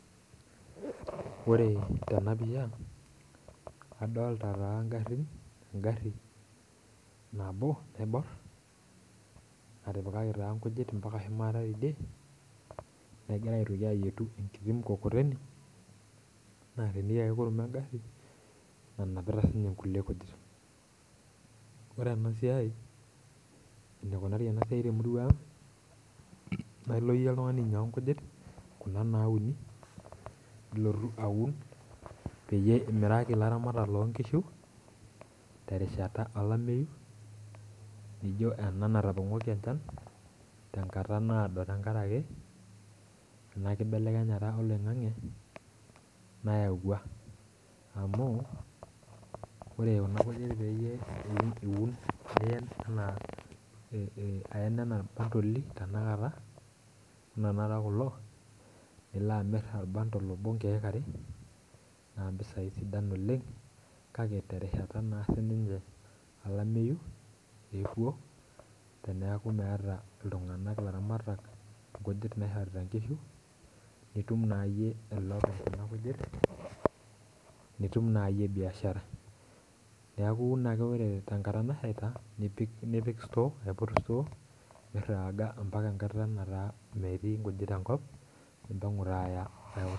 Ore tena pisha adolita taa garin egari nabo naibor. natipikaki taa nkujit mpaka shumata teidie, negirae aitoki ayietu enkiti mkokoteni neteenieki ake kurum egari, nanapita sii ninye nkulie kujit. ore ena siai. enikunari ena siai te murua ang' naa ilo iyie oltung'ani ainyiangu nkujit Kuna naauni. nilotu aun, peyie imiraki ilaramatak loo nkishu, terishata olameyu. nijo ena natapong'ori enchan .te nkata naado te nkaraki, ena kibelekenyata oloing'ang'e. nayaua amu ore Kuna kujit pee iun anaa ayen anaa irkotoli, anaa tenakata kulo, nilo amir or bundle obo inkeek are naa mpisai sidan oleng'.kake terishata olameyu, eewuo teneeku meeta iltung'anak ilaramatak, nkujit naishorita nkishu, itum naayieu ele omirta nkujit. itum naa yiie biashara. neeku iun ake ore te nkata nashaita nipik store apik store miraaga mpaka enkata nataa metii nkujit enkop nimpang'u taa aya.